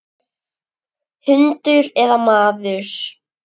Hundur eða maður.